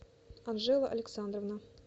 анжела александровна